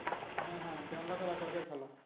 হ্যাঁ হ্যাঁ দেড় লাখ আর এক লাখের খেলা